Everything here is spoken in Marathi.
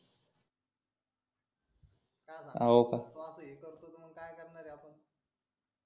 तो असा हे करतो मग काय करणार आहे आपण